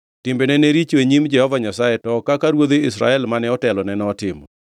Timbene ne richo e nyim Jehova Nyasaye to ok kaka ruodhi Israel mane otelone notimo.